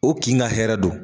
O k'i ga hɛrɛ don